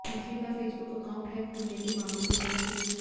मंत्री का Facebook account hack होने के मामले की जांच शुरू